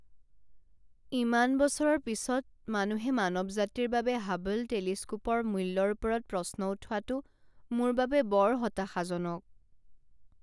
ইমান বছৰৰ পিছত মানুহে মানৱ জাতিৰ বাবে হাবল টেলিস্কোপৰ মূল্যৰ ওপৰত প্ৰশ্ন উঠোৱাটো মোৰ বাবে বৰ হতাশাজনক।